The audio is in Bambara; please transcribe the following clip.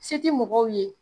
Se ti mɔgɔw ye